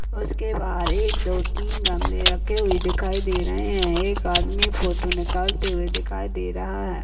और उसके बाहर एक दो तीन गमले रखे हुए दिखाई दे रहे हैं एक आदमी फोटो निकालते हुए दे रहा है।